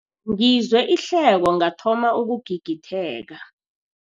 Ngizwe ihleko ngathoma ukugigitheka.